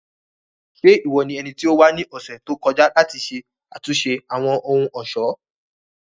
Ṣe iwọ ni ẹniti o wa ni ọsẹ to kọja lati ṣe atunṣe Awọn ohun-ọṣọ?